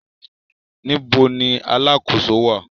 Níbo ni alákòóso wà?